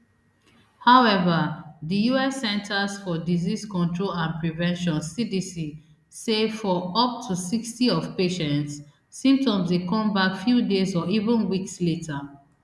however dius centers for disease control and prevention cdc sayfor up to sixty of patients symptoms dey come back few days or even weeks later